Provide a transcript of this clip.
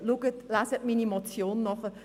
Lesen Sie in meiner Motion nach.